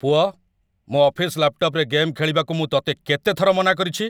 ପୁଅ, ମୋ' ଅଫିସ୍‌ ଲ୍ୟାପ୍‌ଟପ୍‌ରେ ଗେମ୍ ଖେଳିବାକୁ ମୁଁ ତତେ କେତେ ଥର ମନାକରିଛି?